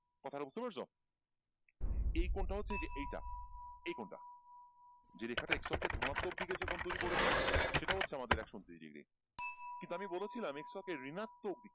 কথাটা বুঝতে পারছ? এই কোণটা হচ্ছে যে এইটা এই কোণটা যে রেখাটা x অক্ষের ধনাত্মক দিকে যে কোণ তৈরী করেছে সেটা হচ্ছে আমাদের একশ ঊনত্রিশ degree কিন্তু আমি বলেছিলাম x অক্ষের ঋনাত্মক দিকে।